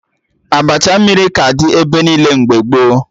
Abacha mmiri ka dị ebe niile mgbe gboo